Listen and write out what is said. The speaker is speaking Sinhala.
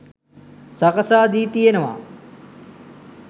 සකසා දී තියෙනවා.